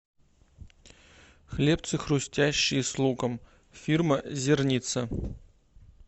хлебцы хрустящие с луком фирма зерница